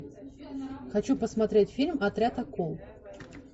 хочу посмотреть фильм отряд акул